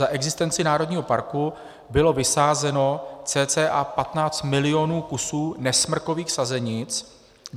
Za existenci národního parku bylo vysázeno cca 15 milionů kusů nesmrkových sazenic.